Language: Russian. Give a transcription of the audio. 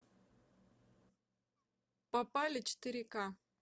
попали четыре ка